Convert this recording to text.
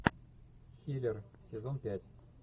хилер сезон пять